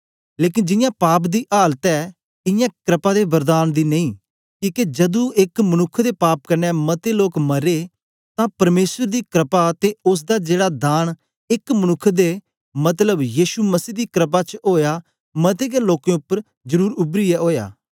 लेकन जींया पाप दी आलात ऐ इयां क्रपा दे वरदान दी नेई किके जदू एक मनुक्ख दे पाप कन्ने मते लोक मरे तां परमेसर दी क्रपा ते ओसदा जेड़ा दान एक मनुक्ख दे मतलब यीशु मसीह दी क्रपा च ओया मते गै लोकें उपर जरुर उबरीयै ओया